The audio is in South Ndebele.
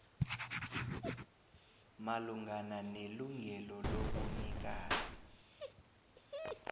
malungana nelungelo lobunikazi